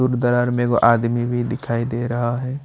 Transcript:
में वो आदमी भी दिखाई दे रहा है।